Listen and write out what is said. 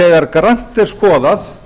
þegar grannt er skoðað